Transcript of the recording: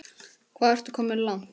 Hvað ertu komin langt?